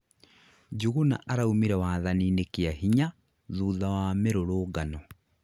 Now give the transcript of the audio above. Njuguna araumire wathani-nĩ kĩa hinya thutha wa mĩrũrũngano